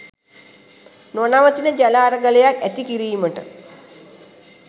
නොනවතින ජල අරගලයක් ඇති කිරීමට